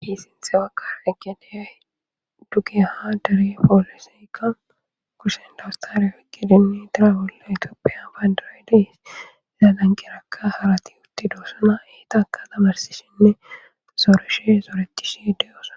hiisinthe waka eggedeyay dugeyaha dare poolisikka kusenda awstaliya fikkedinni dira bolle itoopiya bayndarayde laalanqirakka harati utti doosana eetaaka tamarsishinne sooreshe sooretishe deyoosa